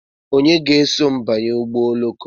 Onye ga-eso m banye ụgbọ oloko?